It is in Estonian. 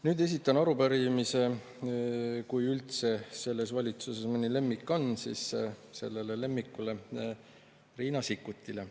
Nüüd esitan arupärimise selle valitsuse lemmikule – kui üldse selles valitsuses mõni lemmik on – Riina Sikkutile.